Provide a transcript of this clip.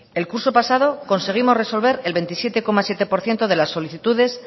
el curso pasado conseguimos resolver el veintisiete coma siete por ciento de las solicitudes